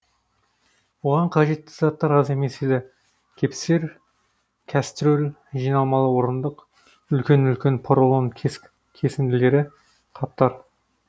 оған қажетті заттар аз емес еді кепсер кәстрөл жиналмалы орындық үлкен үлкен поролон кесінділері қаптар